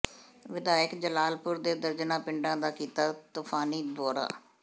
ਵਿਧਾਇਕ ਜਲਾਲਪੁਰ ਨੇ ਦਰਜਨਾਂ ਪਿੰਡਾਂ ਦਾ ਕੀਤਾ ਤੁਫ਼ਾਨੀ ਦੌਰਾ